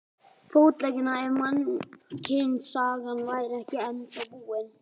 Fótleggina ef mannkynssagan væri ekki ennþá búin.